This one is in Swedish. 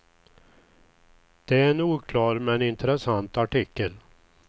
Det är en oklar men intressant artikel.